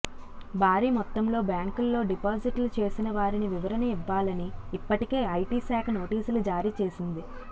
భారీ మొత్తంలో బ్యాంకుల్లో డిపాజిట్లు చేసిన వారిని వివరణ ఇవ్వాలని ఇప్పటికే ఐటీ శాఖ నోటీసులు జారీచేసింది